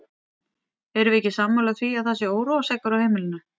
Erum við ekki sammála því að það sé óróaseggur á heimilinu!